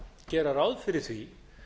gera ráð fyrir því